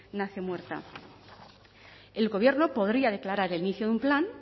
nace muerta el gobierno podría declarar el inicio de un plan